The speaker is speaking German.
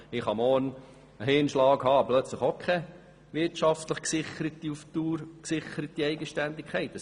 Ich kann morgen einen Hirnschlag erleiden und habe plötzlich auch keine auf die Dauer gesicherte Eigenständigkeit mehr.